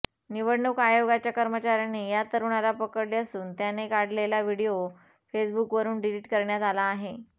निवडणूक आयोगाच्या कर्मचारयांनी या तरूणाला पकडले असून त्याने काढलेला व्हीडिओ फेसबुकवरून डीलीट करण्यात आला आहे